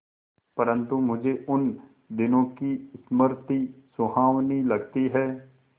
परंतु मुझे उन दिनों की स्मृति सुहावनी लगती है